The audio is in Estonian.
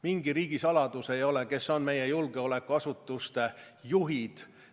Mingi riigisaladus ei ole, kes on meie julgeolekuasutuste juhid.